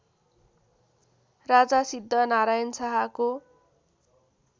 राजा सिद्धनारायण शाहको